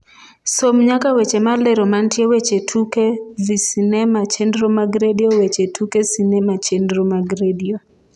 som nyaka weche malero mantie weche tuke vsinema chenro mag redio weche tuke sinema chenro mag redio